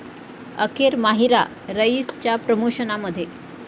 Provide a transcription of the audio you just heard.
अखेर माहिरा 'रईस'च्या प्रमोशनमध्ये